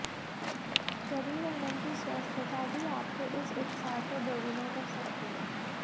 शरीर और मन की स्वस्थता भी आपके इस उत्साह को दोगुना कर सकती है